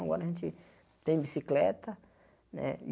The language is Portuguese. Agora a gente tem bicicleta né e.